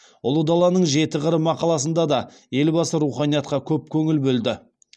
ұлы даланың жеті қыры мақаласында да елбасы руханиятқа көп көңіл бөлді